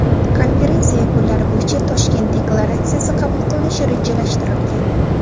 Konferensiya yakunlari bo‘yicha Toshkent deklaratsiyasi qabul qilinishi rejalashtirilgan.